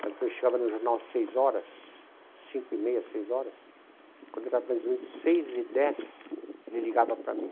Mas quando eu chegava no jornal às seis horas, cinco e meia, seis horas, quando era mais ou menos seis e dez, ele ligava para mim.